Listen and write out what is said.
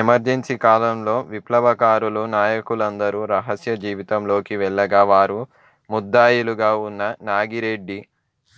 emergency కాలంలో విప్లవకారుల నాయకులందరూ రహస్య జీవితంలోకి వెళ్ళగా వారు ముద్దాయిలుగా వున్న నాగిరెడ్డి